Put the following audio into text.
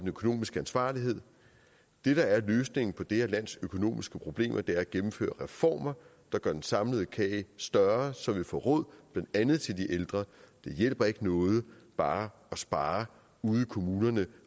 økonomiske ansvarlighed det der er løsningen på det her lands økonomiske problemer er at gennemføre reformer der gør den samlede kage større så vi får råd blandt andet til de ældre det hjælper ikke noget bare at spare ude i kommunerne